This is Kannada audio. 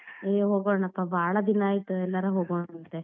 ಏ ಹೋಗೋಣಪ್ಪ ಬಾಳ್ ದಿನಾ ಆಯ್ತ್ ಎಲ್ಲಾರ ಹೋಗೋಣಂತೆ.